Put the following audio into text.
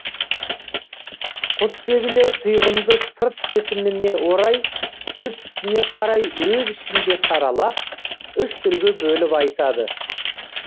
құсбегілер тұйғынды сырт бітіміне орай түр түсіне қарай өз ішінде саралап үш түрге бөліп айтады